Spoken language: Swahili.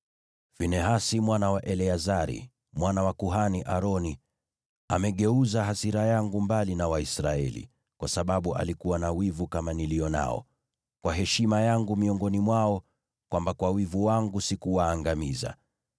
“Finehasi mwana wa Eleazari, mwana wa kuhani Aroni, amegeuza hasira yangu mbali na Waisraeli, kwa sababu alikuwa na wivu kama nilio nao kwa heshima yangu miongoni mwao, hata kwamba kwa wivu wangu sikuwaangamiza.